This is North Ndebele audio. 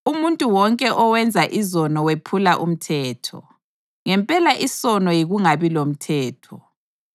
Umuntu wonke owenza izono wephula umthetho; ngempela isono yikungabi lomthetho.